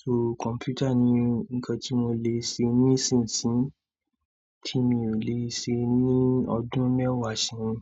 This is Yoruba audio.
So kọ̀mpútà ni nǹkan tí mo lè ṣe ní ìsinsìnyí tí mi ò lè ṣe ní ọdún mẹ́wàá ṣẹ́yìn.